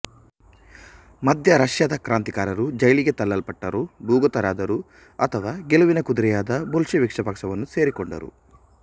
ಮಧ್ಯ ರಷ್ಯಾದ ಕ್ರಾಂತಿಕಾರರು ಜೈಲಿಗೆ ತಳ್ಳಲ್ಟಟ್ಟರು ಭೂಗತರಾದರು ಅಥವಾ ಗೆಲುವಿನ ಕುದುರೆಯಾದ ಬೊಲ್ಶೆವಿಕ್ಸ ಪಕ್ಷವನ್ನು ಸೇರಿಕೊಂಡರು